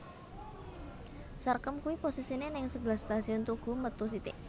Sarkem kui posisine ning sebelah Stasiun Tugu metu sithik